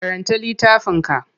Karanta littafin ka.